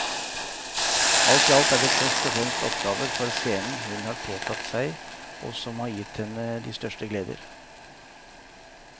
Alt i alt er det først og fremst oppgaver for scenen hun har påtatt seg og som har gitt henne de største gleder.